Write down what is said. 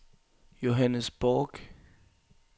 Johannes Bork